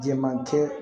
Jɛman kɛ